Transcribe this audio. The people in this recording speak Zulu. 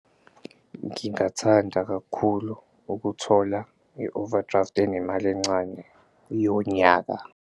Ngingathanda kakhulu ukuthola i-overdraft enemali encane yonyaka.